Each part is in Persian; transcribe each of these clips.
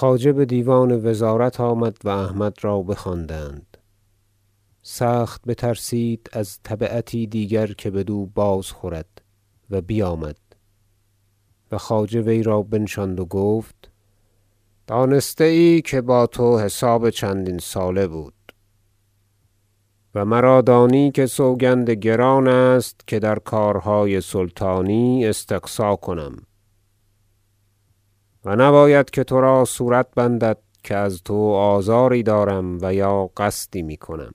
خلعت پوشی احمد ینالتگین خواجه بدیوان وزارت آمد و احمد را بخواندند سخت بترسید از تبعتی دیگر که بدو باز خورد و بیامد و خواجه وی را بنشاند و گفت دانسته ای که با تو حساب چندین ساله بود و مرا دانی که سوگند گران است که در کارهای سلطانی استقصا کنم و نباید که ترا صورت بندد که از تو آزاری دارم و یا قصدی میکنم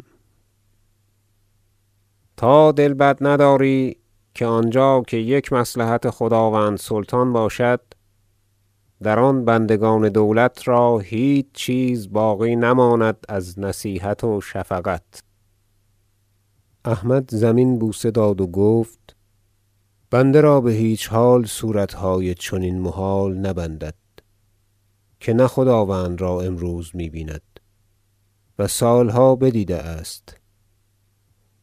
تا دل بد نداری که آنجا که یک مصلحت خداوند سلطان باشد در آن بندگان دولت را هیچ چیز باقی نماند از نصیحت و شفقت احمد زمین بوسه داد و گفت بنده را بهیچ حال صورتهای چنین محال نبندد که نه خداوند را امروز می بیند و سالها بدیده است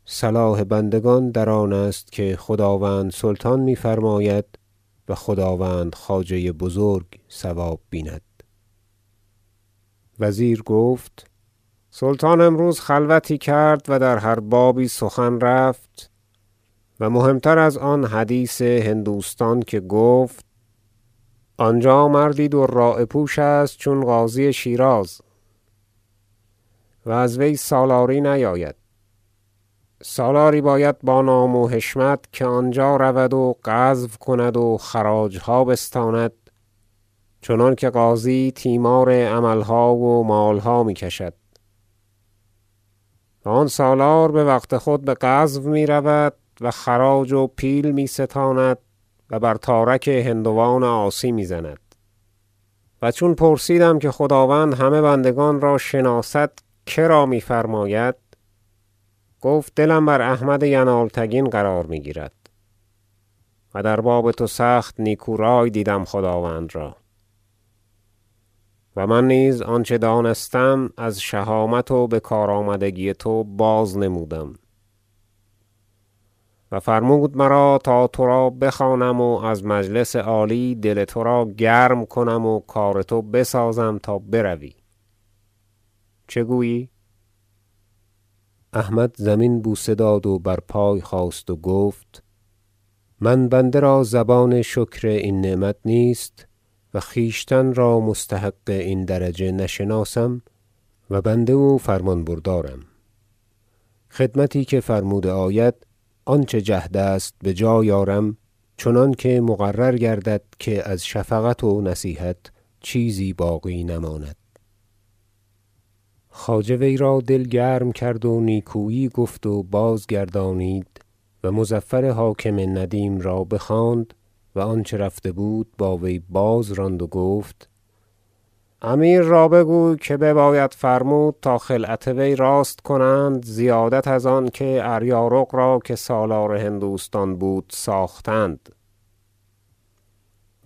صلاح بندگان در آن است که خداوند سلطان می فرماید و خداوند خواجه بزرگ صواب بیند وزیر گفت سلطان امروز خلوتی کرد و در هر بابی سخن رفت و مهم تر از آن حدیث هندوستان که گفت آنجا مردی دراعه پوش است چون قاضی شیراز و از وی سالاری نیاید سالاری باید با نام و حشمت که آنجا رود و غزو کند و خراجها بستاند چنانکه قاضی تیمار عملها و مالها میکشد و آن سالار بوقت خود بغزو می رود و خراج و پیل می ستاند و بر تارک هندوان عاصی میزند و چون پرسیدم که خداوند همه بندگان را شناسد کرا میفرماید گفت دلم بر احمد ینالتگین قرار می گیرد و در باب تو سخت نیکو رأی دیدم خداوند را و من نیز آنچه دانستم از شهامت و بکار آمدگی تو بازنمودم و فرمود مرا تا ترا بخوانم و از مجلس عالی دل ترا گرم کنم و کار تو بسازم تا بروی چه گویی احمد زمین بوسه داد و بر پای خاست و گفت من بنده را زبان شکر این نعمت نیست و خویشتن را مستحق این درجه نشناسم و بنده و فرمان بردارم خدمتی که فرموده آید آنچه جهد است بجای آرم چنانکه مقرر گردد که از شفقت و نصیحت چیزی باقی نماند خواجه وی را دل گرم کرد و نیکویی گفت و بازگردانید و مظفر حاکم ندیم را بخواند و آنچه رفته بود با وی بازراند و گفت امیر را بگوی که بباید فرمود تا خلعت وی راست کنند زیادت از آنکه اریارق را که سالار هندوستان بود ساختند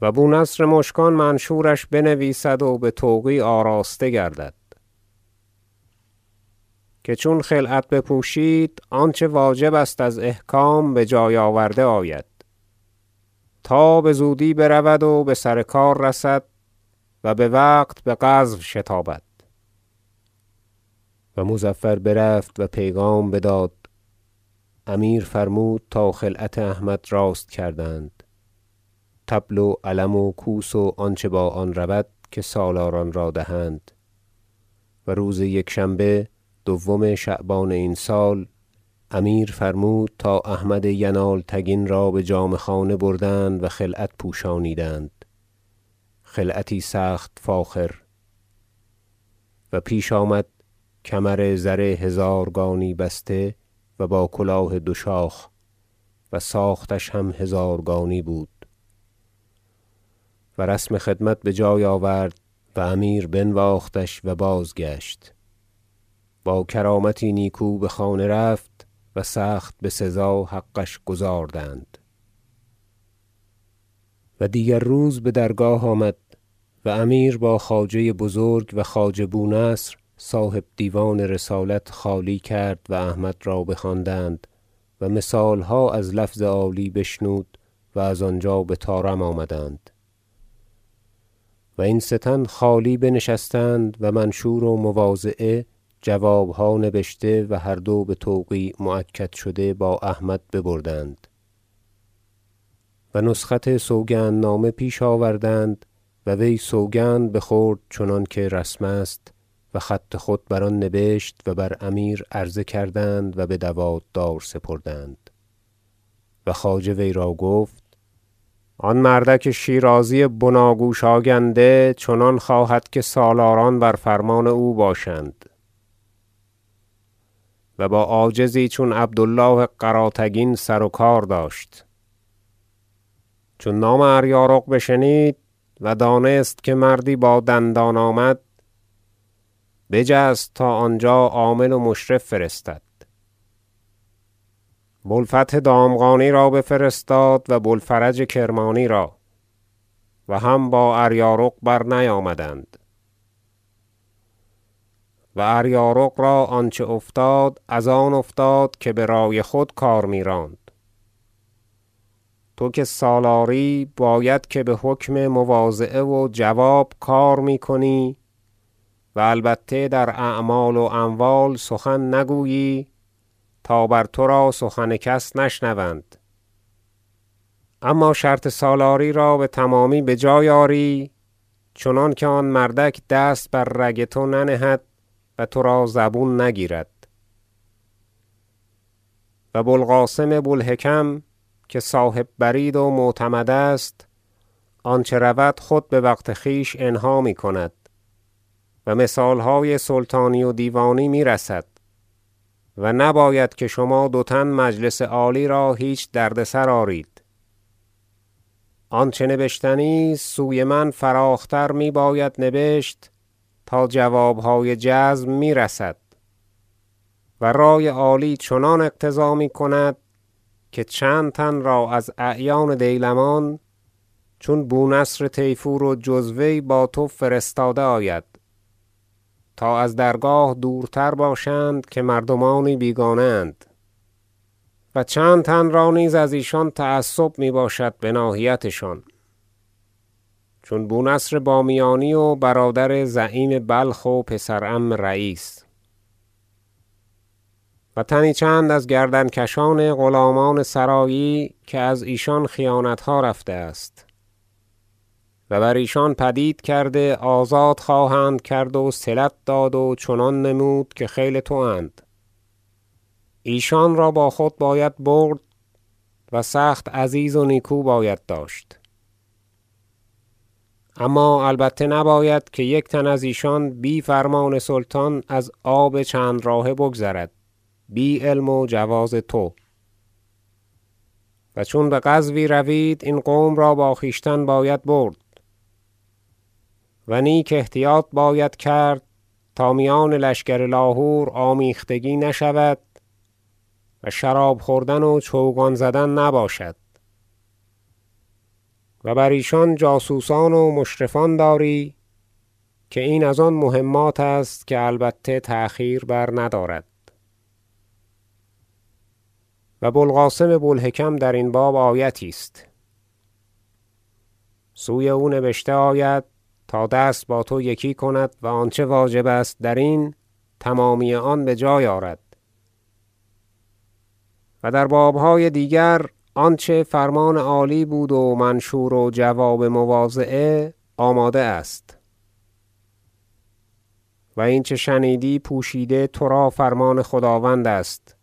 و بو نصر مشکان منشورش بنویسد و بتوقیع آراسته گردد که چون خلعت بپوشید آنچه واجب است از احکام بجای آورده آید تا بزودی برود و بسر کار رسد و بوقت بغزو شتابد و مظفر برفت و پیغام بداد امیر فرمود تا خلعت احمد راست کردند طبل و علم و کوس و آنچه با آن رود که سالاران را دهند و روز یکشنبه دوم شعبان این سال امیر فرمود تا احمد ینالتگین را بجامه خانه بردند و خلعت پوشانیدند خلعتی سخت فاخر و پیش آمد کمر زر هزارگانی بسته و با کلاه دو شاخ و ساختش هم هزارگانی بود و رسم خدمت بجای آورد و امیر بنواختش و بازگشت باکرامتی نیکو بخانه رفت و سخت بسزا حقش گزاردند مذاکره وزیر با احمد در باب هندوستان و دیگر روز بدرگاه آمد و امیر با خواجه بزرگ و خواجه بو نصر صاحب دیوان رسالت خالی کرد و احمد را بخواندند و مثالها از لفظ عالی بشنود و از آنجا بطارم آمدند و این سه تن خالی بنشستند و منشور و مواضعه جوابها نبشته و هر دو بتوقیع مؤکد شده با احمد ببردند و نسخت سوگندنامه پیش آوردند و وی سوگند بخورد چنانکه رسم است و خط خود بر آن نبشت و بر امیر عرضه کردند و بدوات دار سپردند و خواجه وی را گفت آن مردک شیرازی بناگوش آگنده چنان خواهد که سالاران بر فرمان او باشند و با عاجزی چون عبد الله قراتگین سروکار داشت چون نام اریارق بشنید و دانست که مردی با دندان آمد بجست تا آنجا عامل و مشرف فرستد بو الفتح دامغانی را بفرستاد و بو الفرج کرمانی را و هم با اریارق برنیامدند و اریارق را آنچه افتاد از آن افتاد که برأی خود کار میراند ترا که سالاری باید که بحکم مواضعه و جواب کار میکنی و البته در اعمال و اموال سخن نگویی تا بر تو سخن کس نشنوند اما شرط سالاری را بتمامی بجای آری چنانکه آن مردک دست بر رگ تو ننهد و ترا زبون نگیرد و بو القاسم بو الحکم که صاحب برید و معتمد است آنچه رود خود بوقت خویش انها میکند و مثالهای سلطانی و دیوانی میرسد و نباید که شما دو تن مجلس عالی را هیچ دردسر آرید آنچه نبشتنی است سوی من فراخ تر میباید نبشت تا جوابهای جزم میرسد و رأی عالی چنان اقتضا میکند که چند تن را از اعیان دیلمان چون بو نصر طیفور و جز وی با تو فرستاده آید تا از درگاه دورتر باشند که مردمانی بیگانه اند و چند تن را نیز که از ایشان تعصب می باشد بناحیت شان چون بو نصر بامیانی و برادر زعیم بلخ و پسر عم رییس و تنی چند از گردنکشان غلامان سرایی که ازیشان خیانتها رفته است و بر ایشان پدید کرده آزاد خواهند کرد وصلت داد و چنان نمود که خیل تواند ایشان را با خود باید برد و سخت عزیز و نیکو باید داشت اما البته نباید که یک تن از ایشان بی فرمان سلطان از آب چند راهه بگذرد بی علم و جواز تو و چون بغزوی روید این قوم را با خویشتن باید برد و نیک احتیاط باید کرد تا میان لشکر لاهور آمیختگی نشود و شراب خوردن و چوگان زدن نباشد و بر ایشان جاسوسان و مشرفان داری که این از آن مهمات است که البته تأخیر برندارد و بو القاسم بو الحکم درین باب آیتی است سوی او نبشته آید تا دست با تو یکی کند و آنچه واجب است درین تمامی آن بجای آرد و در بابهای دیگر آنچه فرمان عالی بود و منشور و جواب مواضعه آماده است و اینچه شنیدی پوشیده ترا فرمان خداوند است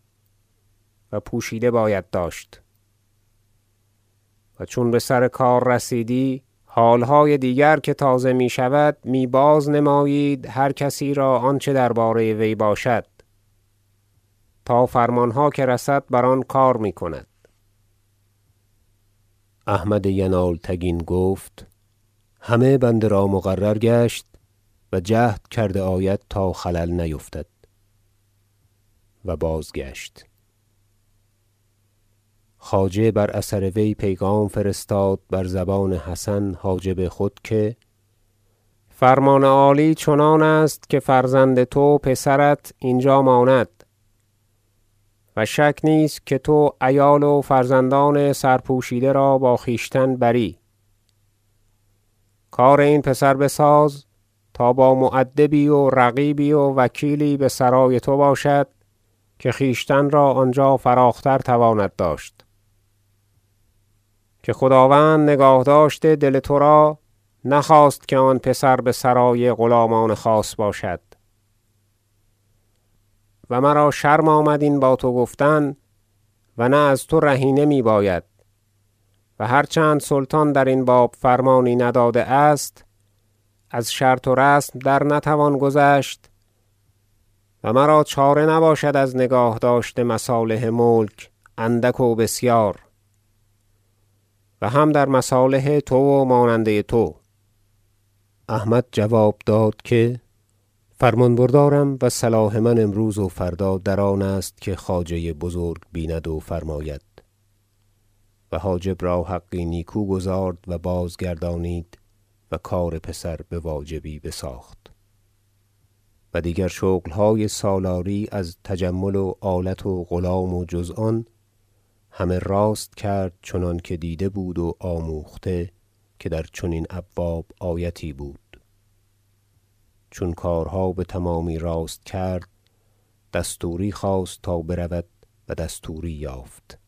و پوشیده باید داشت و چون بسر کار رسیدی حالهای دیگر که تازه می شود می بازنمایید هر کسی را آنچه درباره وی باشد تا فرمانها که رسد بر آن کار می کند احمد ینالتگین گفت همه بنده را مقرر گشت و جهد کرده آید تا خلل نیفتد و بازگشت خواجه بر اثر وی پیغام فرستاد بر زبان حسن حاجب خود که فرمان عالی چنان است که فرزند تو پسرت اینجا ماند و شک نیست که تو عیال و فرزندان سر پوشیده را با خویشتن بری کار این پسر بساز تا با مؤدبی و رقیبی و وکیلی بسرای تو باشد که خویشتن را آنجا فراخ تر تواند داشت که خداوند نگاهداشت دل ترا نخواست که آن پسر بسرای غلامان خاص باشد و مرا شرم آمد این با تو گفتن و نه از تو رهینه می باید و هر چند سلطان درین باب فرمانی نداده است از شرط و رسم در نتوان گذشت و مرا چاره نباشد از نگاهداشت مصالح ملک اندک و بسیار و هم در مصالح تو و ماننده تو احمد جواب داد که فرمان بردارم و صلاح من امروز و فردا در آن است که خواجه بزرگ بیند و فرماید و حاجب را حقی نیکو گزارد و باز گردانید و کار پسر بواجبی بساخت و دیگر شغلهای سالاری از تجمل و آلت و غلام و جز آن همه راست کرد چنانکه دیده بود و آموخته که در چنین ابواب آیتی بود چون کارها بتمامی راست کرد دستوری خواست تا برود و دستوری یافت